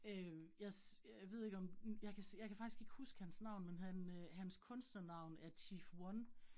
Øh jeg øh jeg ved ikke om hm, jeg kan jeg kan faktisk ikke huske hans navn, men han øh hans kunstnernavn er Chief 1